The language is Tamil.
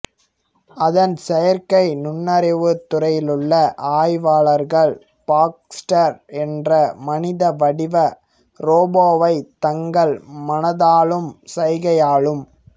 அதன் செயற்கை நுண்ணறிவுத் துறையிலுள்ள ஆய்வாளர்கள் பாக்ஸ்டர் என்ற மனித வடிவ ரோபோவைத் தங்கள் மனதாலும் சைகையாலும்